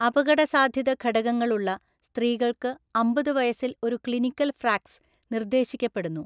അപകടസാധ്യത ഘടകങ്ങളുള്ള സ്ത്രീകൾക്ക് അമ്പത് വയസ്സിൽ ഒരു ക്ലിനിക്കൽ ഫ്രാക്സ് നിർദ്ദേശിക്കപ്പെടുന്നു.